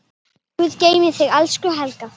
Guð geymi þig, elsku Helga.